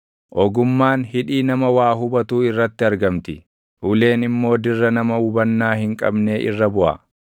Ogummaan hidhii nama waa hubatuu irratti argamti; uleen immoo dirra nama hubannaa hin qabnee irra buʼa.